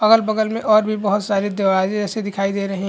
अगल -बगल में और भी बहोत सारे दरवाजे ऐसे दिखाई दे रहे--